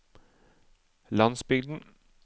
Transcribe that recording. landsbygden